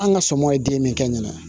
An ka somɔɔw ye den min kɛ ɲana